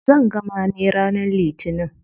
Zan gama ne ranar litinin.